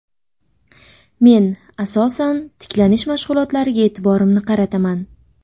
Men asosan tiklanish mashg‘ulotlariga e’tiborimni qarataman.